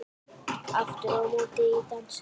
Aftur á móti í dansi.